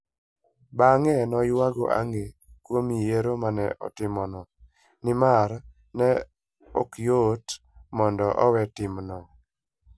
Bang'e ne oyuago ang'e kuom yiero ma ne otimono, nimar ne ok yot mondo owe timno.